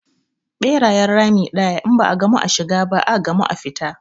Ɓerayen rami ɗaya, in ba a gamu a shiga ba, a gamu a fita.